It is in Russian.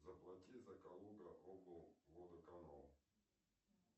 заплати за калуга облводоканал